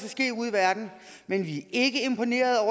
verden men vi er ikke imponerede